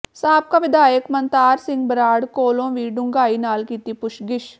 ਸਾਬਕਾ ਵਿਧਾਇਕ ਮਨਤਾਰ ਸਿੰਘ ਬਰਾੜ ਕੋਲੋਂ ਵੀ ਡੂੰਘਾਈ ਨਾਲ ਕੀਤੀ ਪੁਛਗਿਛ